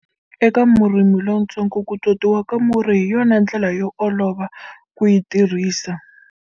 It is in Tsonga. Eka murimi lontsongo, ku totiwa ka murhi hi yona ndlela yo olova ku yi tirhisa.